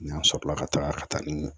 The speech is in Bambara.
N'an sɔrɔla ka taga ka taa ni